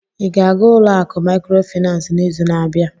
Ị ga-aga ụlọ akụ Maịkrofịnansị n'izu na-abịa?